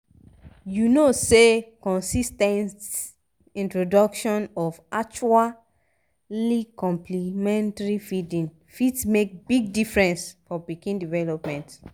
u no say consis ten t introduction of actually complementary feeding fit make big difference for pikin development